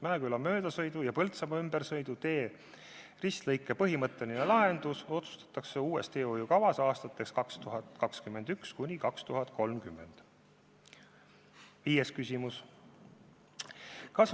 Mäeküla möödasõidu- ja Põltsamaa ümbersõidutee ristlõike põhimõtteline lahendus otsustatakse uues, 2021.–2030. aasta teehoiukavas.